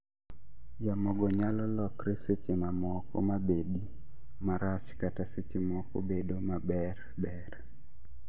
Yamo go nyalo lokre seche mamoko mabedi marach kata seche moko bedo maber ber